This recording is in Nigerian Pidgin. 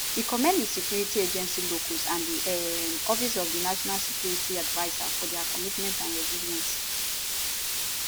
we commend di security agencies locals and di um office of di national security adviser for dia commitment and resilience